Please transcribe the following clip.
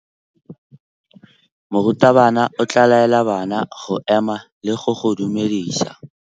Morutabana o tla laela bana go ema le go go dumedisa.